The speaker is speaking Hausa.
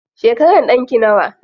Shekaran ɗanki nawa?